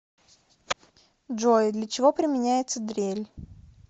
джой для чего применяется дрель